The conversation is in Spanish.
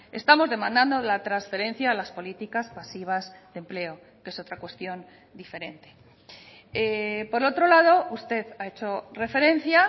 estamos demandando la transferencia a las políticas pasivas de empleo que es otra cuestión diferente por otro lado usted ha hecho referencia